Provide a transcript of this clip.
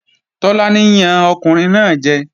Tọ́lání yan ọkùnrin náà jẹ